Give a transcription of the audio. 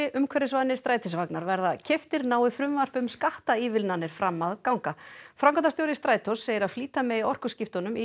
umhverfisvænir strætisvagnar verða keyptir nái frumvarp um skattaívilnanir fram að ganga framkvæmdastjóri Strætós segir að flýta megi orkuskiptunum í